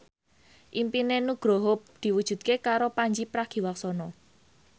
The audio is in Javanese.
impine Nugroho diwujudke karo Pandji Pragiwaksono